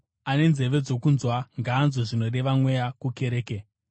Ane nzeve dzokunzwa, ngaanzwe zvinoreva Mweya kukereke.